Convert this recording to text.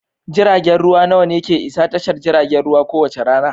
Jiragen ruwa nawa ne ke isa tashar jiragen ruwa kowace rana?